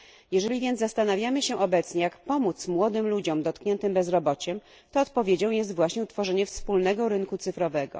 Jeżeli więc zastanawiamy się obecnie, jak pomóc młodym ludziom dotkniętym bezrobociem, to odpowiedzią jest właśnie utworzenie wspólnego rynku cyfrowego.